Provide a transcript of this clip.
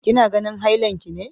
Kina ganin hailan ki ne!